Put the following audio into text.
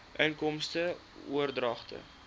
inkomste oordragte